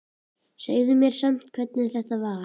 Segðu mér samt hvernig þetta var.